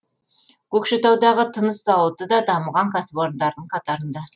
көкшетаудағы тыныс зауыты да дамыған кәсіпорындардың қатарында